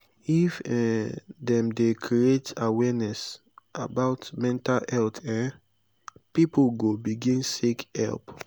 if um dem dey create awareness about mental health um pipo go begin seek help.